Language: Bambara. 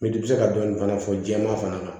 N'i bi se ka dɔɔni fana fɔ jɛman fana na